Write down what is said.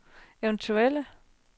eventuelle